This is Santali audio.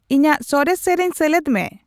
ᱤᱧᱟᱜ ᱥᱚᱨᱮᱥ ᱥᱮᱨᱮᱧ ᱥᱮᱞᱮᱫ ᱢᱮ